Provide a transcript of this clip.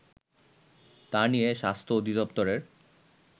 তা নিয়ে স্বাস্থ্য অধিদফতরের